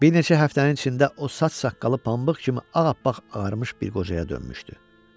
Bir neçə həftənin içində o saç-saqqalı pambıq kimi ağappaq ağarmış bir qocaya dönmüşdü.